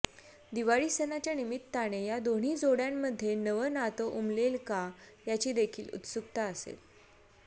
दिवाळी सणाच्या निमित्ताने या दोन्ही जोड्यांमध्ये नवं नात उमलेल का याची देखिल उत्सुकता असेल